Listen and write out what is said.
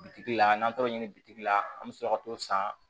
Bitigi la n'an taara o ɲini bitigila an bɛ sɔrɔ ka t'o san